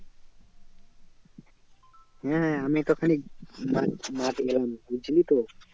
হ্যাঁ আমি মাঠে এলাম বুঝলি তো